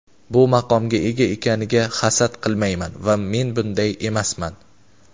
bu maqomga ega ekaniga hasad qilmayman va men bunday emasman.